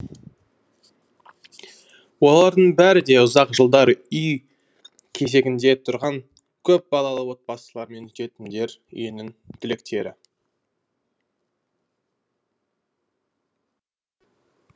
олардың бәрі де ұзақ жылдар үй кезегінде тұрған көпбалалы отбасылар мен жетімдер үйінің түлектері